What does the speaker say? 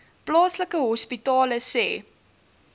plaaslike hospitale sê